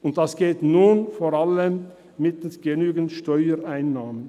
Und das geht nun vor allem mittels genügend Steuerreinnahmen.